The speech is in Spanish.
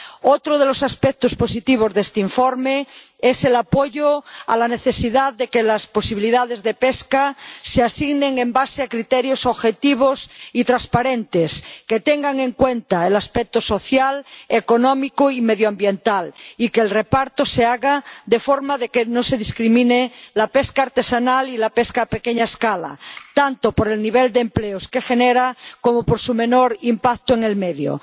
Otro de los aspectos positivos de este informe es el apoyo a la necesidad de que las posibilidades de pesca se asignen en base a criterios objetivos y transparentes, que tengan en cuenta el aspecto social, económico y medioambiental, y que el reparto se haga de forma que no se discrimine a la pesca artesanal y a la pesca a pequeña escala, tanto por el nivel de empleos que generan como por su menor impacto en el medio.